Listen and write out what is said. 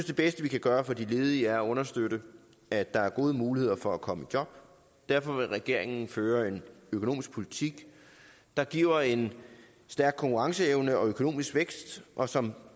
det bedste vi kan gøre for de ledige er at understøtte at der er gode muligheder for at komme i job derfor vil regeringen føre en økonomisk politik der giver en stærk konkurrenceevne og økonomisk vækst og som